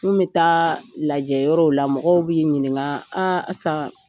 N kun bi taa lajɛyɔrɔw la mɔgɔw b'i ɲininka Asan